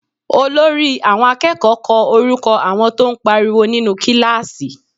Olórí àwọn akẹ́kọ̀ọ́ kọ orúkọ àwọn tó ń pariwo nínú kíláàsì